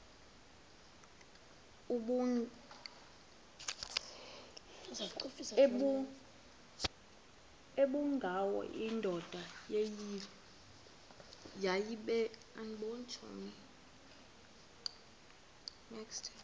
ubengwayo indoda yayibile